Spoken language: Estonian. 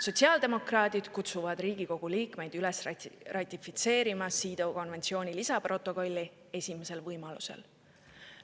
Sotsiaaldemokraadid kutsuvad Riigikogu liikmeid üles ratifitseerima CEDAW konventsiooni lisaprotokolli esimesel võimalusel.